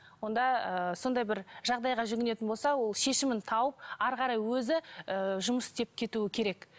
онда ы сондай бір жағдайға жүгінетін болса ол шешімін тауып әрі қарай өзі ы жұмыс істеп кетуі керек